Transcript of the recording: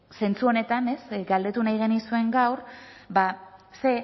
zentzu honetan galdetu nahi genizuen gaur ze